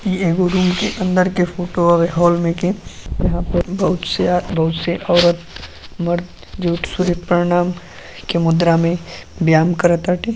इ एगो रूम के अंदर के फोटो हुए हॉल में के। यहाँ पे बहोत से बहोत से औरत मर्द जो सुर्यप्रणाम के मुद्रा में व्यायाम कर टाते --